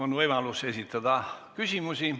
On võimalus esitada küsimusi.